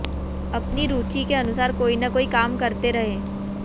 अपनी रूचि के अनुसार कोई न कोई काम करते रहें